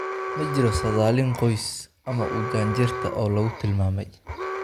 Ma jiro saadaalin qoys ama u janjeerta oo lagu tilmaamay.